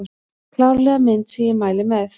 Klárlega mynd sem ég mæli með